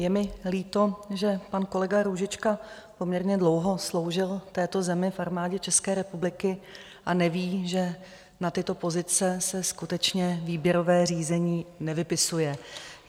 Je mi líto, že pan kolega Růžička poměrně dlouho sloužil této zemi v Armádě České republiky a neví, že na tyto pozice se skutečně výběrové řízení nevypisuje.